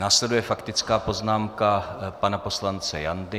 Následuje faktická poznámka pana poslance Jandy.